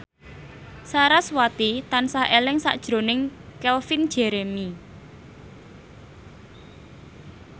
sarasvati tansah eling sakjroning Calvin Jeremy